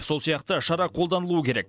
сол сияқты шара қолданылуы керек